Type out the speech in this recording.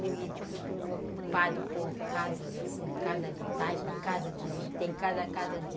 Tudo ocupado por casas, assim, casas de taipa, casa de, tem casa a casa de...